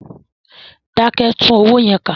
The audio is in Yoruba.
Dákẹ́! Tún owó yẹn kà.